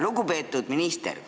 Lugupeetud minister!